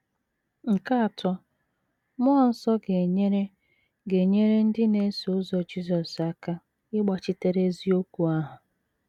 Nke atọ, mmụọ nsọ ga - enyere ga - enyere ndị na - eso ụzọ Jisọs aka ịgbachitere eziokwu ahụ.